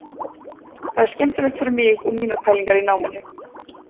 Það er skemmtilegt fyrir mig og mínar pælingar í náminu.